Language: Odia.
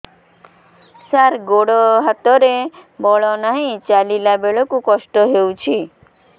ସାର ଗୋଡୋ ହାତରେ ବଳ ନାହିଁ ଚାଲିଲା ବେଳକୁ କଷ୍ଟ ହେଉଛି